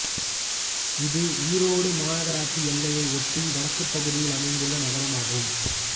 இது ஈரோடு மாநகராட்சி எல்லையை ஒட்டி வடக்குப் பகுதியில் அமைந்துள்ள நகரமாகும்